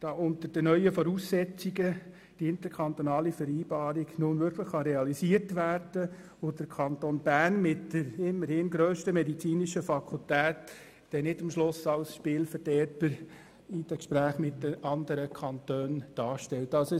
da unter den neuen Voraussetzungen die interkantonale Vereinbarung nun wirklich realisiert werden kann und damit der Kanton Bern, mit der immerhin grössten medizinischen Fakultät, dann nicht am Schluss in den Gesprächen mit den anderen Kantonen als Spielverderber dasteht.